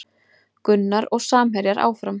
Gunnar og samherjar áfram